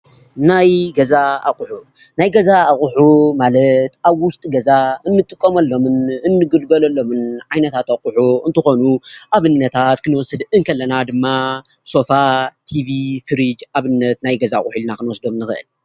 ናይ ገዛ ኣቅሑ ናይ ገዛ ኣቅሑ ማለት ኣብ ውሽጢ ገዛ እንጥቀመሎምን እንግልገሎሎምን ዓይነታት ኣቅሑ እንትኾኑ ኣብነታት ክንወስድ ከለና ድማ ሶፋ፣ ትቪ፣ ፍርጅ ኣብነት ናይ ገዛ አቅሑ ኢልና ክንወስዶም ንክእል፡፡